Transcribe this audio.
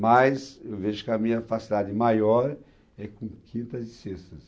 Mas eu vejo que a minha facilidade maior é com quintas e sextas.